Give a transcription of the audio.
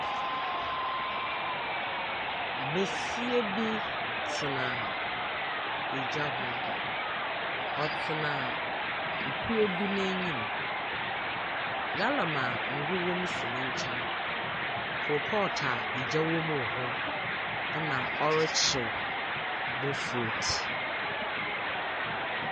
Besia bi tena egya ho. Ɔtena efie bi ne nim. Gallon a ngu wɔ mu si ne kyɛn. Kolpɔt a egya wɔ mu wɔ hɔ ɛna ɔrekyew bofrot.